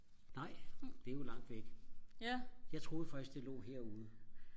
nej det er jo langt væk jeg troede faktisk det lå herude